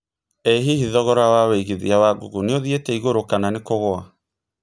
ĩ hihi thogora wa wĩigĩthĩa wa google nĩ ũthĩete ĩgũrũ kana kũgũa